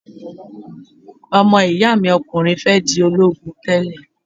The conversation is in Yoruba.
Ọmọ-ìyá mi okùnrin fẹ́ di ológun tẹ́lè